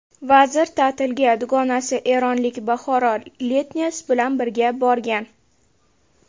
Vazir ta’tilga dugonasi eronlik Bahora Letnes bilan birga borgan.